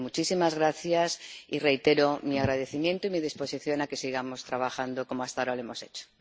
Así que muchísimas gracias, y reitero mi agradecimiento y mi disposición a que sigamos trabajando como hasta ahora lo hemos hecho.